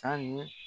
San